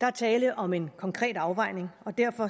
der er tale om en konkret afvejning og derfor